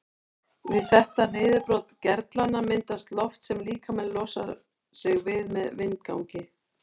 Við þetta niðurbrot gerlanna myndast loft sem líkaminn losar sig við með vindgangi.